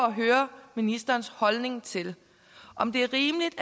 at høre ministerens holdning til om det er rimeligt